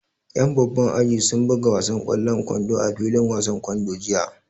Ƴan babban aji sun buga wasan ƙwallon kwando a filin wasan kwando jiya